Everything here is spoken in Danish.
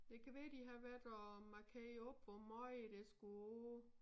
Det kan være de har været og markere op hvor meget der skulle af